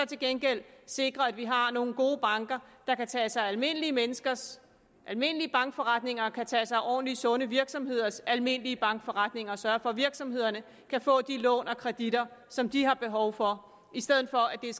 til gengæld sikre at vi har nogle gode banker der kan tage sig af almindelige menneskers almindelige bankforretninger og kan tage sig af ordentlige sunde virksomheders almindelige bankforretninger og sørge for at virksomhederne kan få de lån og kreditter som de har behov for i stedet for at det er